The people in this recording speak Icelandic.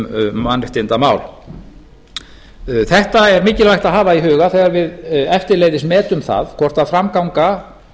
um mannréttindamál þetta er mikilvægt að hafa í huga þegar við eftirleiðis metum það hvort framganga